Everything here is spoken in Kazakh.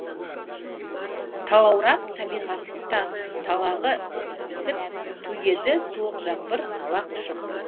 талаурап табиғат та талағы ісіп төгеді суық жаңбыр нала құшып